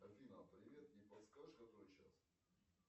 афина привет не подскажешь который час